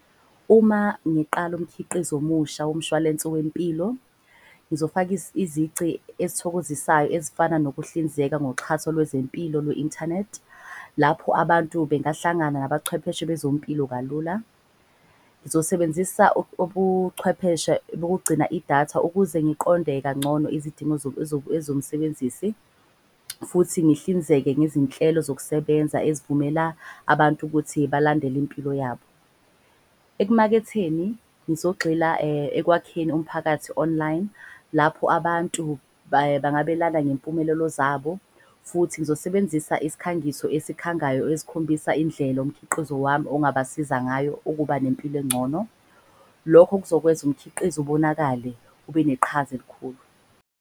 Uma ngiqala umkhiqizo omusha womshwalensi wempilo, ngizofaka izici ezithokozisayo. Ezifana nokuhlinzeka ngoxhaso lwezempilo lwe-inthanethi lapho abantu bengahlangana nabachwepheshe bezompilo kalula. Ngizosebenzisa ubuchwepheshe bokugcina idatha ukuze ngiqonde kangcono izidingo ezomsebenzisi. Futhi ngihlinzeke ngezinhlelo zokusebenza ezivumela abantu ukuthi balandele impilo yabo. Ekumaketheni ngizogxila ekwakheni umphakathi online lapho abantu bangabelana ngempumelelo zabo. Futhi ngizosebenzisa isikhangiso esikhangayo esikhombisa indlela umkhiqizo wami ongabasiza ngayo ukuba nempilo engcono. Lokho kuzokwenza umkhiqizo ubonakale ube neqhaza elikhulu.